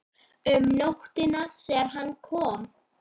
Um nóttina þegar hann kom.